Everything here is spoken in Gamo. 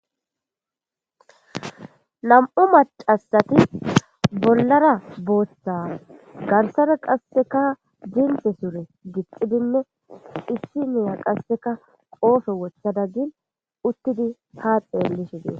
Nam'u macasati bollara booththa garsara qasseka jinte sure gixxi binno issi miya qasseka qoosho wocha daggin uttidi haaxelishidin.